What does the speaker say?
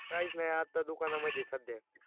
काहीच नाही, आत्ता दुकाना मधे सध्या